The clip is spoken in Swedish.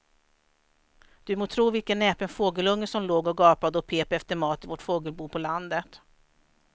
Du må tro vilken näpen fågelunge som låg och gapade och pep efter mat i vårt fågelbo på landet.